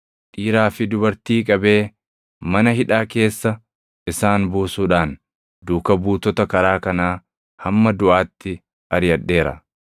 Dhiiraa fi dubartii qabee, mana hidhaa keessa isaan buusuudhaan duuka buutota karaa kanaa hamma duʼaatti ariʼadheera;